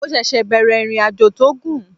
Mo ṣẹ̀ṣẹ̀ bẹ̀rẹ̀ ìrìnàjò tó gùn